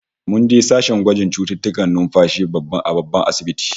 Mun je sashen gwajin cututtukan numfashi a babban asibitin